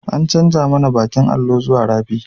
An canja mana bakin allo zuwa fari